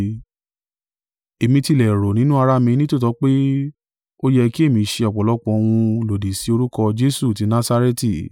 “Èmi tilẹ̀ rò nínú ará mi nítòótọ́ pé, ó yẹ ki èmi ṣe ọ̀pọ̀lọpọ̀ ohun lòdì sí orúkọ Jesu tí Nasareti.